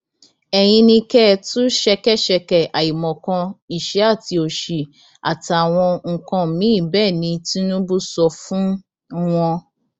ẹyin ni kẹ ẹ tú ṣẹkẹṣẹkẹ àìmọkan ìṣẹ àti òṣì àtàwọn nǹkan míín bẹẹ ni tìnubù sọ fún wọn